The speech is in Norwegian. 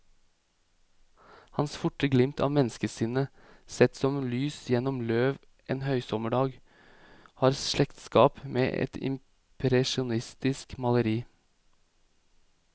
Hans forte glimt av menneskesinnet, sett som lys gjennom løv en høysommerdag, har slektskap med et impresjonistisk maleri.